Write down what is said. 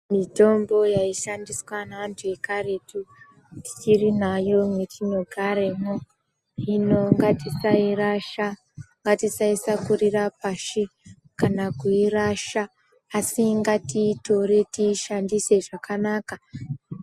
Mitombo yaishandiswa neanthu ekaretu tichiri nayo mwetinogaremo hino ngatisairasha ngatisaishakurira pashi kana kuirasha asi ngatiitore tiishandise zvakanaka.